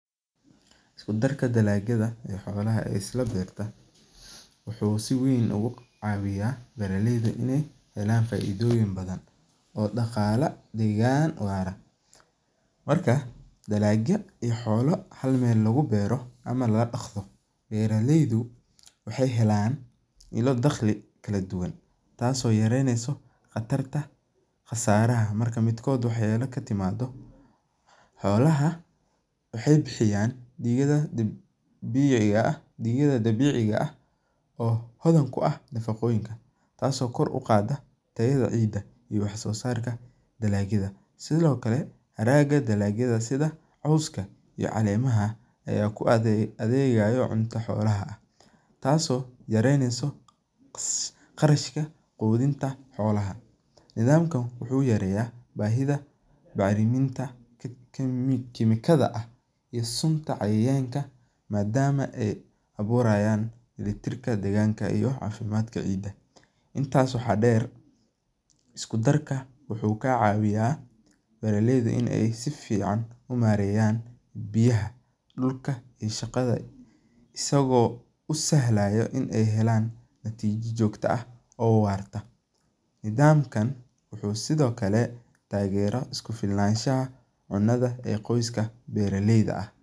Iskudarka dalagyaada ee iskudarka xolaha wuxuu si weyn oga hawiya beera leyda in ee helan faidoyin badan oo daqala degan, marka dalagya iyo xola isku meel lagu beero ama laga daqdo beera leydu waxee helan kaladuwan tas oo yareyneso qasaraha, xolaha waxee bixiyan digada dabiciga ah oo hodan ku ah nafaqoyinka taso kor u qadha tayaada ciida iyo wax sosarka dalagyaada sithokale haraga dalagyaada iyo sitha coska iyo calemaaha aya ku adhegayo cunto xolaha, tas oo yareyneso qarashka ohinta xolaha, dalaga wuxuu yareya bahiida bacriminta madama ee aburayan litarka deganka cafimaadka, intas waxaa deer isku darka waxaa deer beera leyda in ee si fican u mareyan biyaha dulka iyo shaqaada isago usahlaya in ee helan natijo jogto ah oo warta, nidhaamkan wuxuu sithokale tageerayashaha cuntada beera leyda ah.